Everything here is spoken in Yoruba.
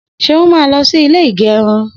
Seun má lọ sí ilé ìgérun